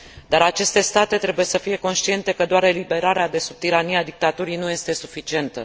Dar aceste state trebuie să fie conștiente că doar eliberarea de sub tirania dictaturii nu este suficientă.